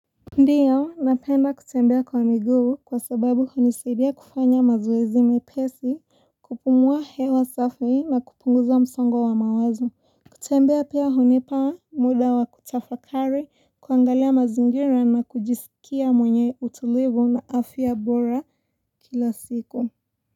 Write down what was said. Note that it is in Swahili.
Ndio napenda kutembea kwa miguu kwa sababu hunisaidia kufanya mazoezi mepesi kupumuwa hewa safi na kupunguza msongo wa mawazo kutembea pia hunipa muda wa kutafakari kuangalia mazingira na kujisikia mwenye utulivu na afya bora kila siku.